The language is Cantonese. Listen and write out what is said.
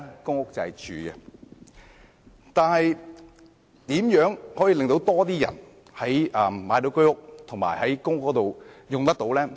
然而，如何可以令更多人能購買居屋和入住公屋呢？